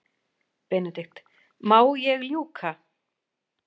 BENEDIKT: Má ég ljúka.